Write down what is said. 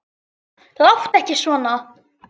Láttu ekki svona